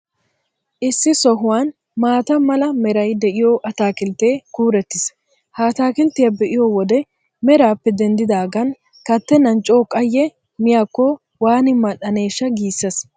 Issi sohuwan maata mala meray de'iyoo ataakilttee kuurettiis. Ha ataakilttiyaa be'iyo wode meraappe denddidaagan kattennan coo qayye miyaakko waani mal''aneeshsha giissees.